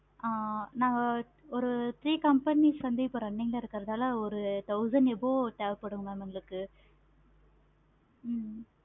ஆஹ் நாங்க ஒரு three companies வந்து run ல இருக்கனால thousand above தேவைப்படும் mam எங்களுக்கு